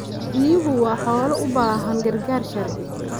Riyuhu waa xoolo u baahan gargaar sharci.